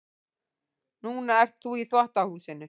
Núna ert þú í þvottahúsinu.